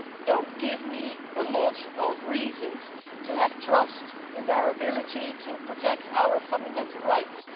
do not give me a lot of reasons to have trust in their ability to protect our fundamental rights.